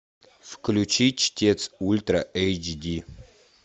включи чтец ультра эйч ди